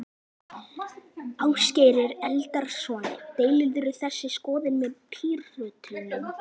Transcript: Ásgeir Erlendsson: Deilirðu þeirri skoðun með Pírötum?